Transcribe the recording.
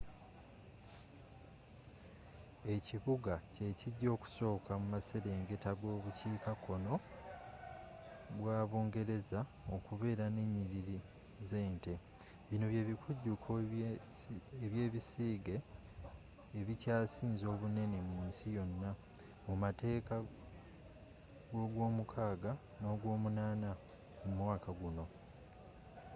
ekibuga kyekijja okusooka muaserengeta gobukiika kkoo bwa bungereza okubeera nenyiriri zente bino byebikujuko byebisiige ebikyasinze obunene mu nsi yonna mumakati gogwomukaaga nogwomunaana omwaka guno